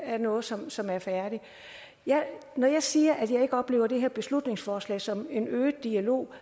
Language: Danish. er noget som som er færdigt når jeg siger at jeg ikke oplever det her beslutningsforslag som en øget dialog